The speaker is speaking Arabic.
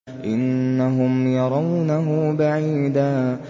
إِنَّهُمْ يَرَوْنَهُ بَعِيدًا